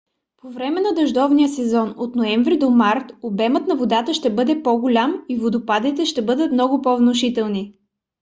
по време на дъждовния сезон от ноември до март обемът на водата ще бъде по-голям и водопадите ще бъдат много по-внушителни